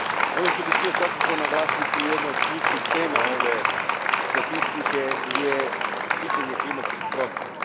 Ono što bih htio svakako naglasiti, jedna od ključnih tema ove statistike je pitanje klimatskih promjena.